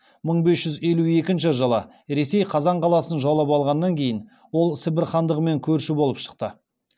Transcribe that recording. мың бес жүз елу екінші ресей қазан қаласын жаулап алғаннан кейін ол сібір хандығымен көрші болып шықты